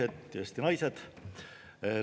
Eesti mehed, Eesti naised!